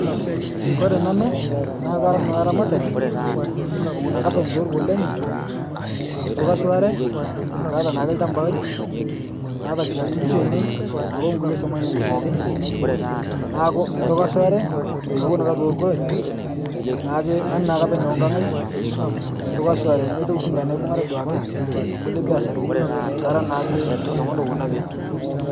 Kore nanu, naa kara nanu laramatani lowon ake apeny te loruko lenye, meitoki ashulare kaata naake lchamba lai, naata siake ngishu ainen naake onkule swom ainen pookin, neaku meitoki ashulare, kawon ake te loruko lai naake nanu naake apeny okang' aai, meitoki ashulare nemeitoki sii nkae naibung'are duake tenkule biasharani kara naake ltung'ani owon apeny.